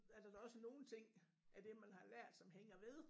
Er der da også nogle ting af det man har lært som hænger ved